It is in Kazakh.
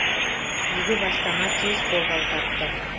игі бастама тез қолдау тапты